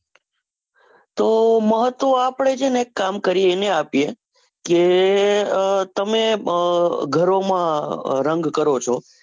તો મહત્વ આપણે છે ને એક કામ કરીયે એને આપીયે, કે તમે ગારો માં રંગ કરો છો.